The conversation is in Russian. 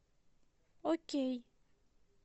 окей